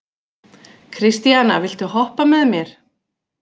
Kristíana, viltu hoppa með mér?